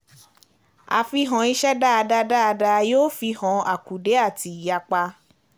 Àfihàn iṣẹ́ dáadáa dáadáa yóò fihan àkùdé àti ìyapa.